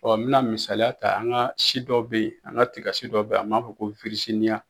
Ɔ n bɛna misaya ta an ka si dɔ bɛ yen an ka tigasi dɔ bɛ an b'a fɔ ko